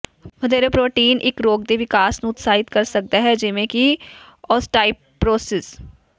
ਵਧੇਰੇ ਪ੍ਰੋਟੀਨ ਇੱਕ ਰੋਗ ਦੇ ਵਿਕਾਸ ਨੂੰ ਉਤਸ਼ਾਹਿਤ ਕਰ ਸਕਦਾ ਹੈ ਜਿਵੇਂ ਕਿ ਔਸਟਾਈਪਰੋਰਿਸਸ